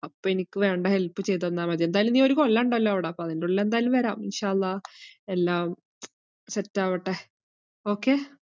അപ്പോ എനിക്ക് വേണ്ട help ചെയ്തെന്നാൽ മതി. എന്തായാലും നീയൊരു കൊല്ലോണ്ടല്ലോ അവിടെ, അപ്പോ അതിന്റുള്ളിൽ എന്തായാലും വരാം. എല്ലാം set ആവട്ടെ okay?